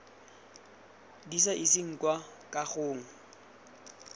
di sa iseng kwa kagong